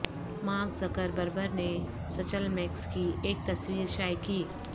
mark Zuckerberg نے سچل Max کی ایک تصویر شائع کی